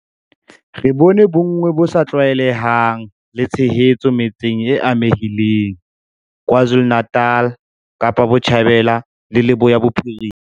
Re bone bonngwe bo sa tlwaelehang le tshehetso metseng e amehileng KwaZulu-Natal, Kapa Botjhabela le Leboya Bophirima.